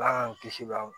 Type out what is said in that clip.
Ala y'an kisi baw